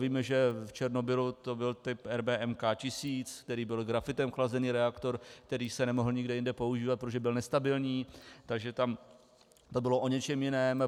Víme, že v Černobylu to byl typ RBMK 1000, který byl grafitem chlazený reaktor, který se nemohl nikde jinde používat, protože byl nestabilní, takže tam to bylo o něčem jiném.